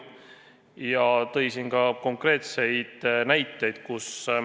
Ta tõi ka konkreetseid näiteid.